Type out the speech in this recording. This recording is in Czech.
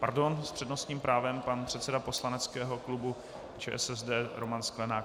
Pardon, s přednostním právem pan předseda poslaneckého klubu ČSSD Roman Sklenák.